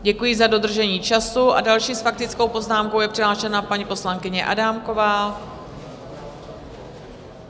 Děkuji za dodržení času a další s faktickou poznámkou je přihlášena paní poslankyně Adámková.